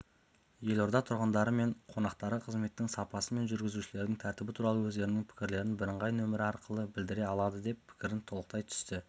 елорда тұрғындары мен қонақтары қызметтің сапасы мен жүргізушілердің тәртібі туралы өздерінің пікірлерін бірыңғай нөмірі арқылы білдіре алады деп пікірін толықтай түсті